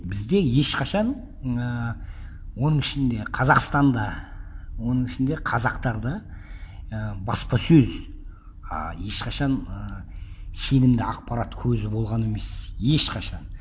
бізде ешқашан ыыы оның ішінде қазақстанда оның ішінде қазақтарда і баспасөз ыыы ешқашан ы сенімді ақпарат көзі болған емес ешқашан